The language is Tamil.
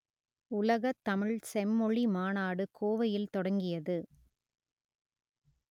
உலகத் தமிழ் செம்மொழி மாநாடு கோவையில் தொடங்கியது